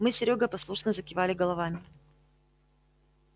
мы с серёгой послушно закивали головами